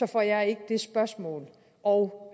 får jeg ikke det spørgsmål og